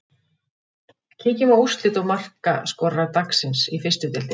Kíkjum á úrslit og markaskorara dagsins í fyrstu deildinni.